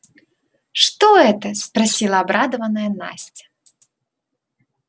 что это спросила обрадованная настя